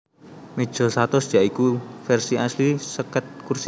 Meja satus ya iku versi asli seket kursi